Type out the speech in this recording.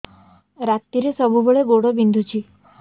ରାତିରେ ସବୁବେଳେ ଗୋଡ ବିନ୍ଧୁଛି